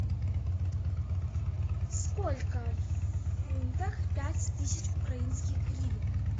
сколько в фунтах пять тысяч украинских гривен